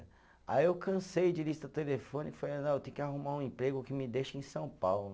Aí eu cansei de lista telefônica e falei, não, eu tenho que arrumar um emprego que me deixe em São Paulo.